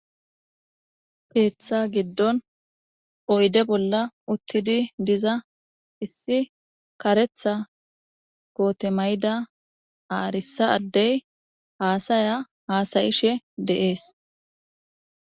Keththa giidon oydde bolla uttidi diiza issi kareththa koote mayida aarrisa addey hassaya hasa'she de'essi.